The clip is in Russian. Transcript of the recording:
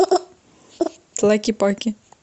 тлакепаке